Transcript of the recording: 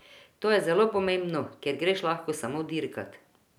To je zelo pomembno, ker greš lahko samo dirkat.